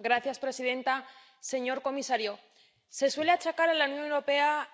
Señora presidenta, señor comisario, se suele achacar a la Unión Europea